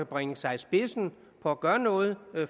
bringe sig i spidsen for at gøre noget